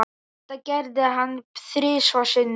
Þetta gerði hann þrisvar sinnum.